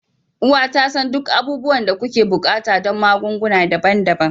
Uwa ta san duk abubuwan da kuke buƙata don magunguna daban-daban.